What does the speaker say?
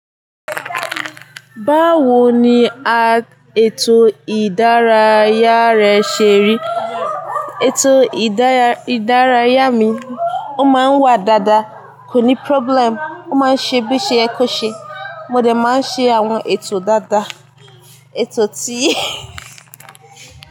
Báwo ni ètò ìdárayá rẹ ṣe rí? Ètò ìdárayá mi, ó máa ń wà dáadáa, kò ní problem. Ó máa ń ṣe bí ṣe yẹ kó ṣe. Mo dẹ̀ máa ń ṣe àwọn ètò dáadáa, ètò tí.